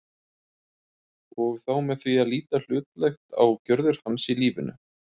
og þá með því að líta hlutlægt á gjörðir hans í lífinu.